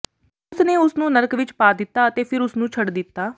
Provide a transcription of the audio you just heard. ਉਸ ਨੇ ਉਸ ਨੂੰ ਨਰਕ ਵਿਚ ਪਾ ਦਿੱਤਾ ਅਤੇ ਫਿਰ ਉਸ ਨੂੰ ਛੱਡ ਦਿੱਤਾ